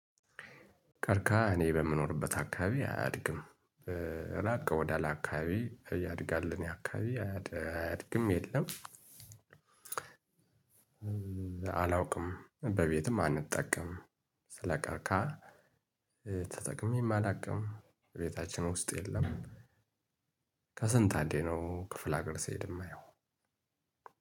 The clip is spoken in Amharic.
ቀርክሃ እኔ በምኖርበት አካባቢ አያድግም። ራቅ ወደ አለ አካባቢ ያድጋል። እኔ አካባቢ አያድግም የለም። አላውቅም በቤትም አንጠቀም። ስለቀርከሀ። ተጠቅሜ አላውቅም ቤታችን ውስጥ የለም። ከስንት አንዴ ነው ክፍል ሀገር ሲሄድ የማየው